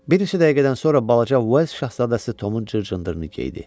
Bir neçə dəqiqədən sonra balaca Ves Şahzadəsi Tomun cır-cındırını geydi.